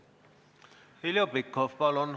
Heljo Pikhof, palun!